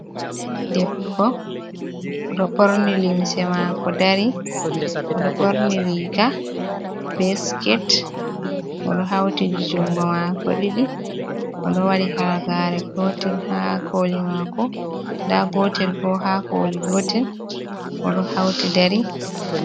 Debbo oɗo ɓorni limse maako dari, oɗo ɓorni riga be siket oɗo hauti jungo maako ɗiɗi, oɗo waɗi halagaare gotel ha koli maako, nda gotel bo ha koli gotel oɗo hauti dari.